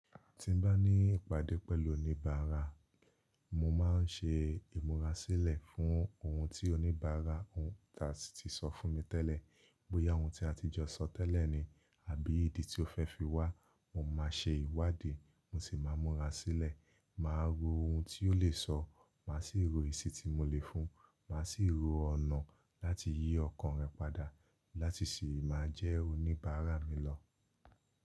Tí n bá ní ìpàdé pẹ̀lú oníbàárà, mo máa ń ṣe ìmúra sílẹ̀ fún ohun tí oníbàárà náà ti sọ fún mi tẹ́lẹ̀. Bóyá ohun tí a ti jọ sọ tẹ́lẹ̀ ni àbí ìdí tí ó fẹ́ fi wá, mo máa ṣe ìwádìí, mo sì máa múra sílẹ̀, màá ro ohun tí ó lè sọ, màá sì ro esi tí mo lè fún un, màá sì ro ọ̀nà láti yí ọkàn rẹ̀ padà láti sì máa jẹ́ oníbàárà mi lọ.